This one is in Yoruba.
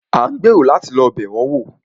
A ń gbèrò láti lọ́ bẹ̀ wọn wò.